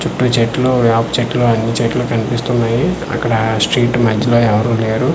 చుట్టూ చెట్లు యప చెట్లు అన్నీ చెట్లు కనిపిస్తున్నాయి అక్కడ ఆ స్ట్రీట్ మద్యలో ఎవ్వరు లేరు.